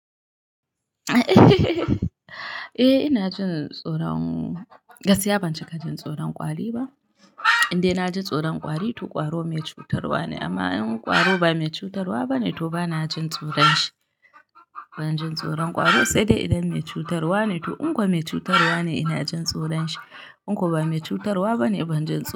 Eh ina jin tsoron, gaskiya ban cika jin tsoron kwari ba. Indai ina jin tsoron kwari, to kwaro mai cutarwa ne. Amma in kwaro ba mai cutarwa ba ne, to ba na jin tsoron shi. Ban jin tsoron ƙwaro sai dai idan mai cutarwa ne. To in ko me cutarwa ne inajin tsoron shi in ko ba mai cutarwa bane ban jjn.